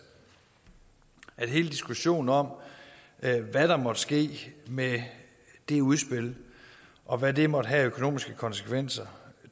at det i hele diskussionen om hvad der måtte ske med det udspil og hvad det måtte have af økonomiske konsekvenser